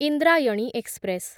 Indrayani express